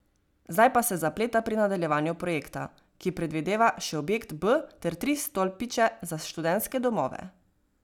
Zdaj pa se zapleta pri nadaljevanju projekta, ki predvideva še objekt B ter tri stolpiče za študentske domove.